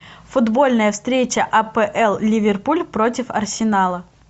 футбольная встреча апл ливерпуль против арсенала